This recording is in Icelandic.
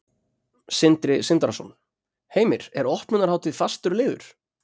Sindri Sindrason: Heimir, er opnunarhátíð fastur liður?